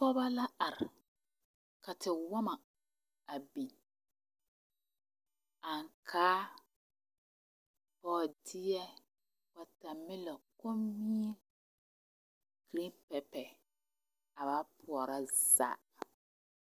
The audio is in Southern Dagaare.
Pɔgeba la are ka tewɔmɔ bin. ankaa, bɔɔdɛɛ, watermelon, komie greenpepper a ba pɔrɔ zaa